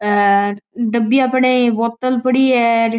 हेर डब्बिया पड़ी बोतल पड़ी है र।